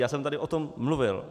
Já jsem tady o tom mluvil.